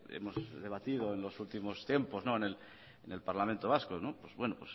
hemos debatido en los últimos tiempos en el parlamento vasco pues bueno